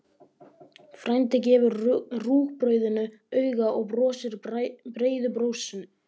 Frændi gefur rúgbrauðinu auga og brosir breiðu brosi.